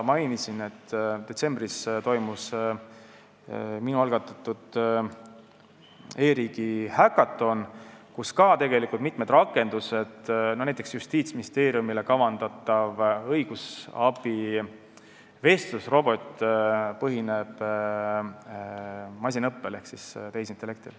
Mainisin veel, et detsembris toimus minu algatatud e-riigi häkaton, kus olid esitlusel mitmed rakendused, näiteks Justiitsministeeriumile kavandatav õigusabi vestlusrobot, mis põhineb masinõppel ehk tehisintellektil.